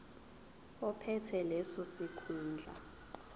ophethe leso sikhundla